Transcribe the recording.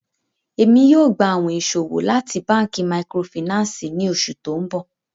ẹ̀mi yóò gbà àwìn ìṣọwọ̀ láti bankí màkrófínànsí ní oṣù tó nbọ.